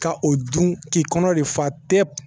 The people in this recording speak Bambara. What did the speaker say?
Ka o dun k'i kɔnɔ de fa pe pe